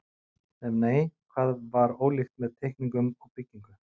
Ef nei, hvað var ólíkt með teikningum og byggingu?